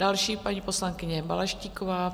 Další, paní poslankyně Balaštíková.